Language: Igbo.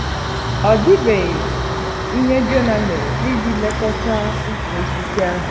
Ọ dịbeghị ihe Jona mere iji lekọta ukwu osisi ahụ.